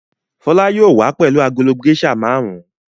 Fọlá yóò wá pẹ̀lú agolo géíṣà márùn-ún.